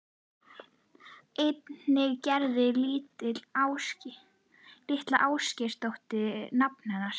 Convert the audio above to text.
Einnig Gerður litla Ásgeirsdóttir nafna hennar.